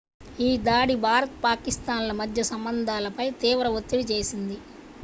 ఈ దాడి భారత్ పాకిస్థాన్ ల మధ్య సంబంధాలపై తీవ్ర ఒత్తిడి చేసింది